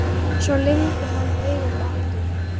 Svo lygndi hann augunum aftur.